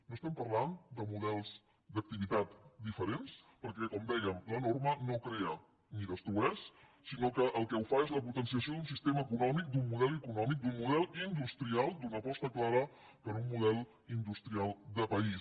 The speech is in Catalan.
no parlem de models d’activitat diferents perquè com dèiem la norma no crea ni destrueix sinó que el que ho fa és la potenciació d’un sistema econòmic d’un model econòmic d’un model industrial d’una aposta clara per un model industrial de país